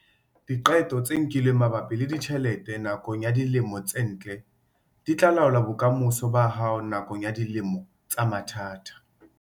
Diqeto tse nkilweng mabapi le ditjhelete nakong ya dilemo tse ntle di tla laola bokamoso ba hao nakong ya dilemo tsa mathata.